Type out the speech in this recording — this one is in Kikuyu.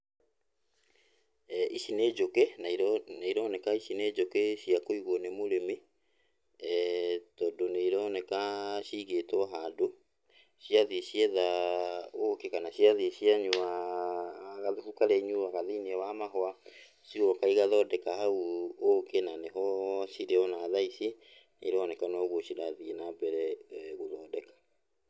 Ici nĩ njũkĩ na iro, na ironeka ici nĩ njũkĩ cia kũigwo nĩ mũrĩmi, tondũ nĩ ironeka ciigĩtwo handũ, ciathiĩ cietha ũkĩ, kana ciathiĩ cianyua gathubu karĩa inyuaga thĩiniĩ wa mahũa, cigoka igathondeka hau ũkĩ, na nĩho cirĩ ona thaici nĩironeka nogwo cirathiĩ nambere gũthondeka.